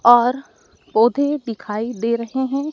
और पौधे दिखाई दे रहे हैं।